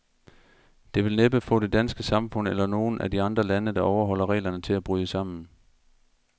Det vil næppe få det danske samfund, eller nogen af de andre lande, der overholder reglerne, til at bryde sammen.